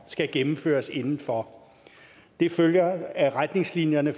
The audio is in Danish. skal gennemføres inden for det følger af retningslinjerne